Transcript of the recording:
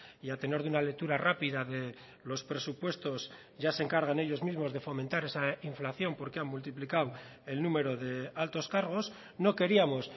y a tenor de una lectura rápida de los presupuestos ya se encargan ellos mismos de fomentar esa inflación porque han multiplicado el número de altos cargos no queríamos